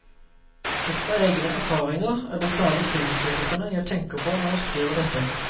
Ut fra egne erfaringer er det særlig filmkritikerne jeg tenker på når jeg skriver dette.